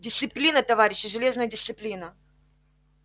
дисциплина товарищи железная дисциплина